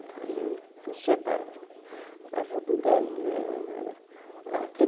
trabalhei para o